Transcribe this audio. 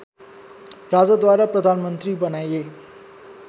राजाद्वारा प्रधानमन्त्री बनाइए